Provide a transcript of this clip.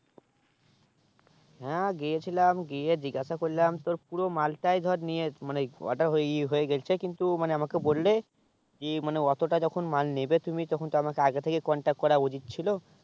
হ্যাঁ গিয়ে ছিলাম গিয়ে জিগেস করলাম তোর পুরো মালটা ধর নিয়ে মানে order ই হয়ে গেছে কিন্তু আমাকে বললে যে অটো টা যা যখন মাল নেবে তুমি তখন তো আমাকে আগে থেকে contact করা উচিত ছিল